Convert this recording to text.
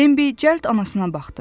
Bimbi cəld anasına baxdı.